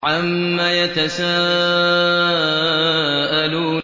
عَمَّ يَتَسَاءَلُونَ